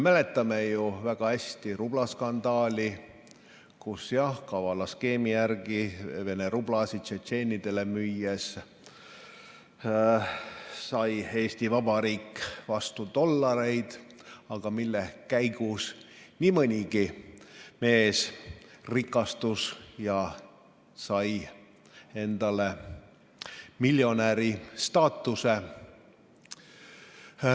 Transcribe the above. Mäletame ju väga hästi rublaskandaali, kus kavala skeemi järgi Vene rublasid tšetšeenidele müües sai Eesti Vabariik vastu dollareid ning mille käigus nii mõnigi mees rikastus ja sai miljonäri staatuse.